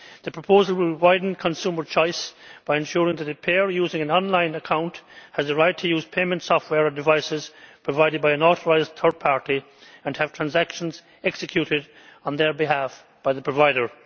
The proposal will widen consumer choice by ensuring that a payer using an online account has the right to use payment software devices provided by an authorised third party and have transactions executed on their behalf by the provider.